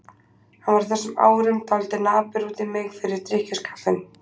Hann var á þessum árum dálítið napur út í mig fyrir drykkjuskapinn.